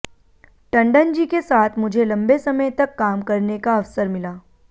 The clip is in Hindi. टंडनजी के साथ मुझे लम्बे समय तक काम करने का अवसर मिला